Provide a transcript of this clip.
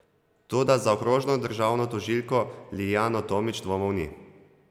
Toda za okrožno državno tožilko Liljano Tomič dvomov ni.